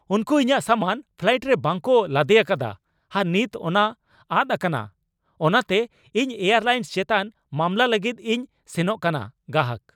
ᱩᱱᱠᱩ ᱤᱧᱟᱜ ᱥᱟᱢᱟᱱ ᱯᱷᱞᱟᱭᱤᱴ ᱨᱮ ᱵᱟᱝᱠᱚ ᱞᱟᱫᱮ ᱟᱠᱟᱫᱟ ᱟᱨ ᱱᱤᱛ ᱚᱱᱟ ᱟᱫ ᱟᱠᱟᱱᱟ ᱚᱱᱟᱛᱮ ᱤᱧ ᱮᱭᱟᱨᱞᱟᱭᱤᱱᱥ ᱪᱮᱛᱟᱱ ᱢᱟᱢᱞᱟ ᱞᱟᱹᱜᱤᱫ ᱤᱧ ᱥᱮᱱᱚᱜ ᱠᱟᱱᱟ ᱾ (ᱜᱟᱦᱟᱠ)